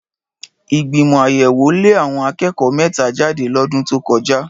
Ìgbìmọ̀ àyẹ̀wò lé àwọn akẹ́kọ̀ọ́ mẹ́ta jáde lọ́dún tó kọjá.